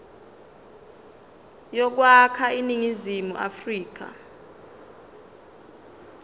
yokwakha iningizimu afrika